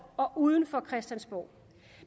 og uden for christiansborg